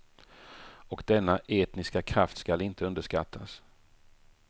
Och denna etniska kraft skall inte underskattas.